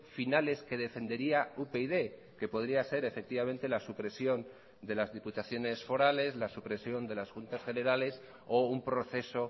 finales que defendería upyd que podría ser efectivamente la supresión de las diputaciones forales la supresión de las juntas generales o un proceso